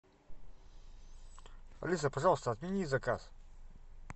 алиса пожалуйста отмени заказ